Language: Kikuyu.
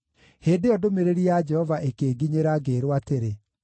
Hĩndĩ ĩyo ndũmĩrĩri ya Jehova ĩkĩnginyĩra, ngĩĩrwo atĩrĩ: